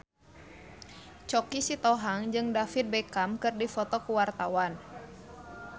Choky Sitohang jeung David Beckham keur dipoto ku wartawan